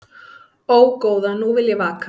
Ó, góða nú vil ég vaka